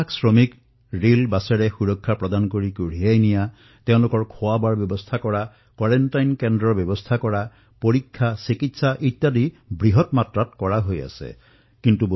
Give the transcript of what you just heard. লক্ষাধিক শ্ৰমিকক ৰেলেৰে বাছেৰে সুৰক্ষিত ধৰণে স্থানান্তৰিত কৰা তেওঁলোকৰ খোৱাবোৱাৰ চিন্তা কৰা প্ৰতিখন দিলাই কোৱাৰেণ্টাইন কেন্দ্ৰৰ ব্যৱস্থা কৰা সকলো পৰীক্ষণ চেকআপ উপচাৰৰ ব্যৱস্থা কৰা এই সকলো কাম নিৰন্তৰে চলিবলৈ ধৰিছে আৰু বৃহৎ মাত্ৰাত চলিবলৈ ধৰিছে